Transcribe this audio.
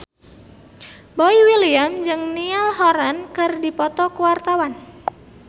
Boy William jeung Niall Horran keur dipoto ku wartawan